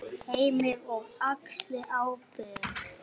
Heimir: Og axli ábyrgð?